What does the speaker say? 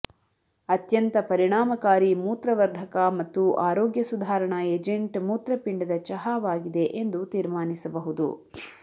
ಅತ್ಯಂತ ಪರಿಣಾಮಕಾರಿ ಮೂತ್ರವರ್ಧಕ ಮತ್ತು ಆರೋಗ್ಯ ಸುಧಾರಣಾ ಏಜೆಂಟ್ ಮೂತ್ರಪಿಂಡದ ಚಹಾವಾಗಿದೆ ಎಂದು ತೀರ್ಮಾನಿಸಬಹುದು